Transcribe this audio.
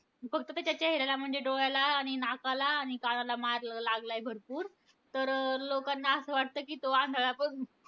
फक्त त्याच्या चेहऱ्याला म्हणजे डोळ्याला आणि नाकाला आणि कानाला मार लागलाय भरपूर. तर अं लोकांना असं वाटतं कि तो आंधळा झाला.